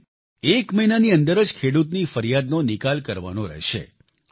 એમ એ એક મહિનાની અંદર જ ખેડૂતની ફરિયાદનો નિકાલ કરવાનો રહેશે